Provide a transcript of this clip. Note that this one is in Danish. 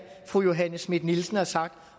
fru johanne schmidt nielsen har sagt